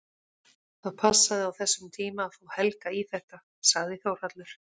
Það passaði á þessum tíma að fá Helga í þetta, sagði Þórhallur.